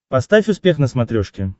поставь успех на смотрешке